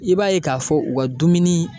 I b'a ye k'a fɔ u ka dumuni